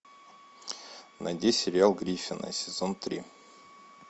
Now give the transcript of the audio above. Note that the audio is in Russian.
найди сериал гриффины сезон три